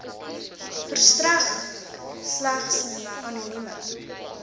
verstrek slegs anonieme